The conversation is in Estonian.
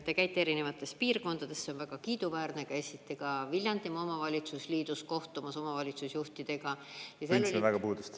Te käite erinevates piirkondades, see on väga kiiduväärne, käisite ka Viljandimaa omavalitsusliidus kohtumas omavalitsusjuhtidega.